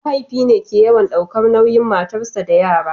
mahaifi ne ke yawan daukar nauyin matarsa da yara